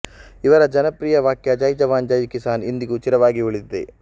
ಇವರ ಜನಪ್ರಿಯ ವಾಕ್ಯ ಜೈ ಜವಾನ್ ಜೈ ಕಿಸಾನ್ ಇಂದಿಗೂ ಚಿರವಾಗಿ ಉಳಿದಿದೆ